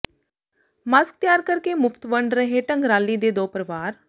mask ਤਿਆਰ ਕਰ ਕੇ ਮੁਫ਼ਤ ਵੰਡ ਰਹੇ ਢੰਗਰਾਲੀ ਦੇ ਦੋ ਪਰਿਵਾਰ